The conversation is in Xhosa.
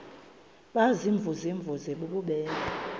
baziimvuze mvuze bububele